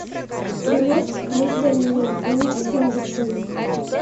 билет муз до нии клинической медицины